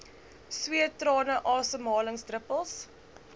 sweet trane asemhalingsdruppels